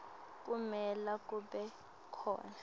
kumele kube khona